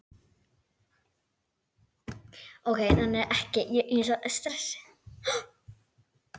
Muni ég rétt.